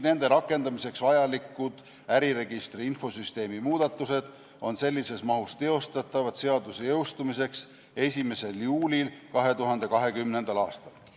Nende rakendamiseks vajalikud äriregistri infosüsteemi muudatused on sellises mahus teostatavad seaduse jõustumiseks 1. juulil 2020. aastal.